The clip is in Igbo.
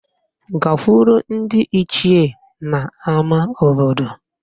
Gakwuru ndị Ichie n'ama obodo